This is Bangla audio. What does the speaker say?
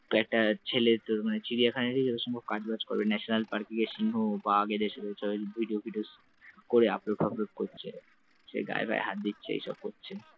একটা ছেলে তোর মানে চিড়িয়াখানা । যত সম্ভব কাজবাজ করে । national park গিয়ে সিংহ বাঘ এদের সাথে video ফিডিও করে upload ফাপলোড করছে । সে গায়ে গায়ে হাত দিচ্ছে এসব করছে ।